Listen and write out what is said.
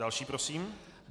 Další prosím.